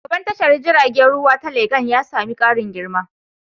Shugaban tashar jiragen ruwa ta Legan ya sami ƙarin girma.